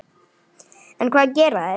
En hvað gera þeir?